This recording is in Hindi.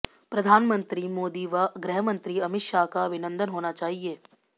प्रधानमंत्री मोदी व गृहमंत्री अमित शाह का अभिनंदन होना चाहिए